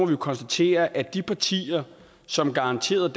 konstatere at de partier som garanterede